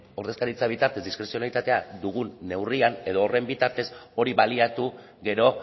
ordezkaritza bitartez diskrezionalitatea dugun neurrian edo horren bitartez hori baliatu gero